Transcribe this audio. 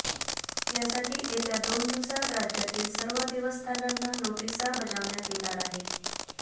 यासाठी येत्या दोन दिवसांत राज्यातील सर्व देवस्थानांना नोटिसा बजावण्यात येणार आहेत